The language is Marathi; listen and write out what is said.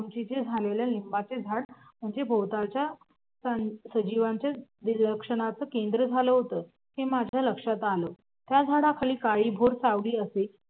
ते लिंबाचं झाड म्हणजे भोवतालच्या सजीवांच्या दिलाशाचं केंद्र झालं होत हे माझ्या लक्षात आलं त्या झाडाखाली काळीभोर सावली असे